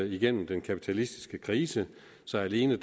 igennem den kapitalistiske krise så alene